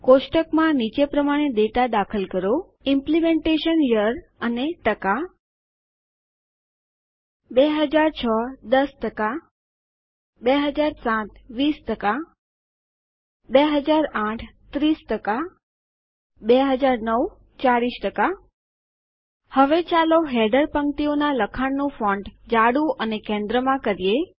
કોષ્ટક માં નીચે પ્રમાણે ડેટા દાખલ કરો ઇમ્પ્લિમેન્ટેશન Year160 ૨૦૦૬ ૧૦ ૨૦૦૭ ૨૦ ૨૦૦૮ ૩૦ ૨૦૦૯ ૪૦ હવે ચાલો હેડર પંક્તિઓનું લખાણના ફૉન્ટ જાડું અને કેન્દ્રમાં કરીએ